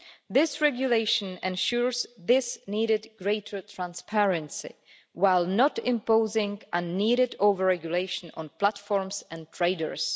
This regulation ensures this needed greater transparency, while not imposing unneeded over-regulation on platforms and traders.